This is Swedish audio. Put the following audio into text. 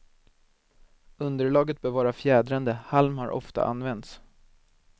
Underlaget bör vara fjädrande, halm har ofta använts.